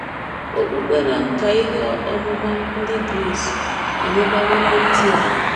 Okpukpe na nkà ihe ọmụma ndị Gris amụbawo n’Antiọk.